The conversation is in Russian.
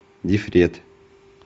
дифрет